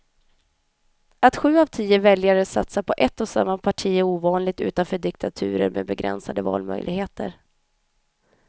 Att sju av tio väljare satsar på ett och samma parti är ovanligt utanför diktaturer med begränsade valmöjligheter.